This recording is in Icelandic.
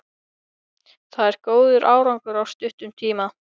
Það er góður árangur á stuttum tíma.